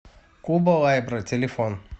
куба лайбрэ телефон